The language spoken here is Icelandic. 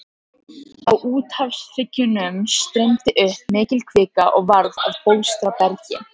Á úthafshryggjunum streymdi upp mikil kvika og varð að bólstrabergi.